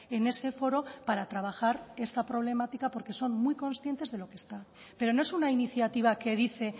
en ese foro para trabajar esa problemática porque son muy conscientes de lo que está pero no es una iniciativa que dice